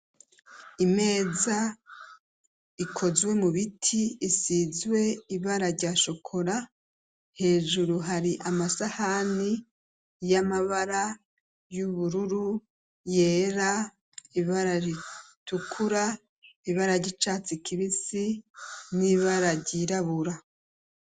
imeza ikozwe mu biti isizwe ibara ryashokora hejuru hari amasahani y'amabara y'ubururu yera ibara ritukura ibara ry'icatsi kibisi n'ibara ryirabura